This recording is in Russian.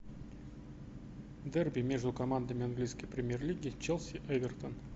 дерби между командами английской премьер лиги челси эвертон